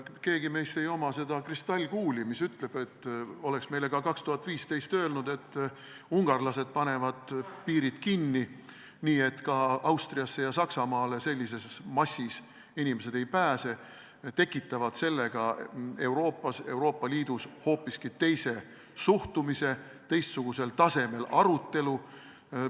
Kellelgi meist ei ole seda kristallkuuli, mis oleks meile aastal 2015 öelnud, et ungarlased panevad piirid kinni, nii et ka Austriasse ja Saksamaale sellised massid ei pääse, ja nad tekitavad sellega Euroopa Liidus hoopiski teise suhtumise, teistsugusel tasemel arutelu.